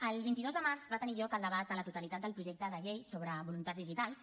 el vint dos de març va tenir lloc el debat a la totalitat del projecte de llei sobre voluntats digitals